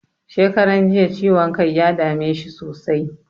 Shekaran jiya ciwon kai ya dame shi sosai.